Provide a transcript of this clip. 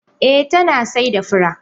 Eh tana saida fura.